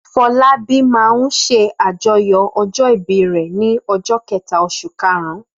Fọlábí máa ń ṣàjọyọ̀ ọjọ́-ìbí rẹ̀ ní ọjọ́ kẹ̀ta oṣù karùn-ún.